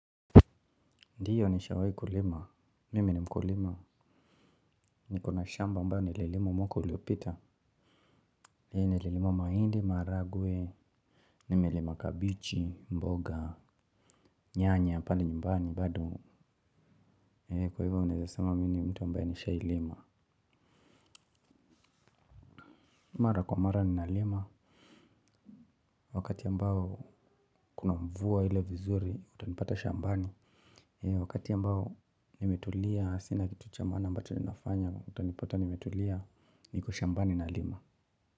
Ndioo nishawahi kulima, mimi ni mkulima. Nikona shamba ambayo nililima mwaka uliopita. Hii nililima mahindi, maharagwe, nimelima kabichi, mboga, nyanya pale nyumbani bado kwa hivyo unaweza sema mimi ni mtu ambaye nishawahilima. Mara kwa mara ninalima wakati ambao kuna mvua ile vizuri, utanipata shambani wakati ambao nimetulia sina kitu cha maana ambachi ninafanya, utanipata nimetulia, niko shambani nalima.